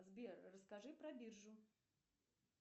сбер расскажи про биржу